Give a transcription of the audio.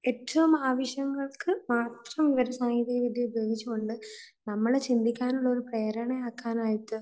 ഏറ്റവും ആവശ്യങ്ങൾക്ക് മാത്രം വിവരസാങ്കേതിക ഉപയോഗിച്ചുകൊണ്ട് നമ്മൾ ചിന്തിക്കാനുള്ള പ്രേരണ ആക്കാൻ ആയിട്ട്